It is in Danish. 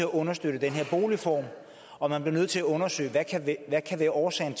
understøtte den her boligform og at man bliver nødt til at undersøge hvad årsagen